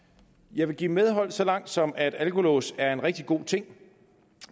jeg vil give medhold så langt som at alkolås er en rigtig god ting